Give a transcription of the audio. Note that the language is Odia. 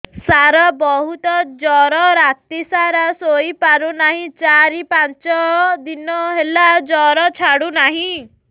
ସାର ବହୁତ ଜର ରାତି ସାରା ଶୋଇପାରୁନି ଚାରି ପାଞ୍ଚ ଦିନ ହେଲା ଜର ଛାଡ଼ୁ ନାହିଁ